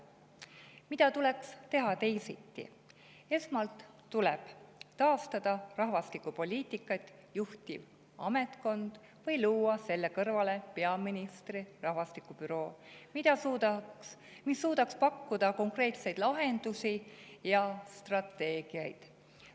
Mida tuleks teha teisiti: esmalt tuleb taastada rahvastikupoliitikat juhtiv ametkond või luua peaministri rahvastikubüroo, mis suudaks pakkuda konkreetseid lahendusi ja strateegiaid.